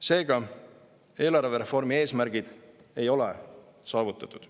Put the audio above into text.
Seega, eelarvereformi eesmärgid ei ole saavutatud.